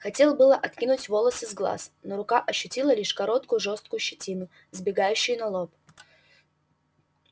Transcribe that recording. хотел было откинуть волосы с глаз но рука ощутила лишь короткую жёсткую щетину сбегающую на лоб